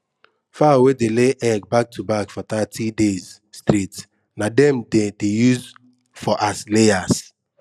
fowl wey dey lay egg back to back for thirty days straight na dem dem dey use for as layers